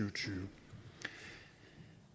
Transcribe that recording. og tyve